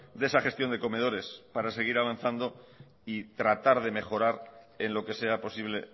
de esa gestión de comedores para seguir avanzando y tratar de mejorar en lo que sea posible